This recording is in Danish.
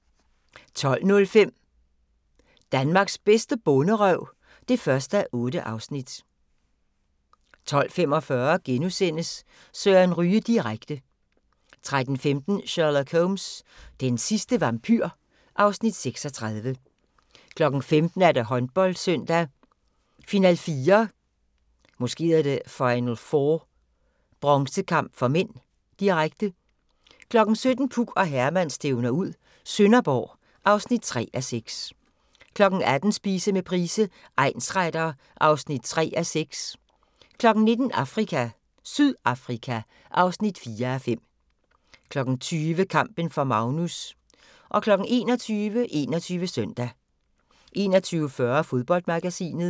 12:05: Danmarks bedste bonderøv (1:8) 12:45: Søren Ryge direkte * 13:15: Sherlock Holmes: Den sidste vampyr (Afs. 36) 15:00: Håndboldsøndag: Final4 – bronzekamp (m), direkte 17:00: Puk og Herman stævner ud - Sønderborg (3:6) 18:00: Spise med Price, egnsretter (3:6) 19:00: Afrika - Sydafrika (4:5) 20:00: Kampen for Magnus 21:00: 21 Søndag 21:40: Fodboldmagasinet